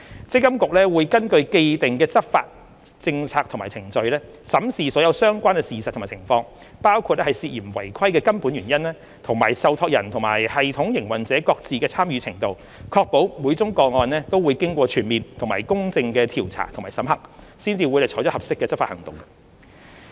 積金局會根據既定的執法政策和程序，審視所有相關事實及情況，包括涉嫌違規的根本原因，以及受託人與系統營運者各自的參與程度，確保每宗個案均會經過全面及公正的調查和審核，才採取合適的執法行動。